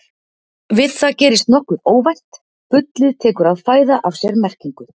Við það gerist nokkuð óvænt: bullið tekur að fæða af sér merkingu!